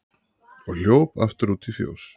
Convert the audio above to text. og hljóp aftur út í fjós.